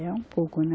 É um pouco, né?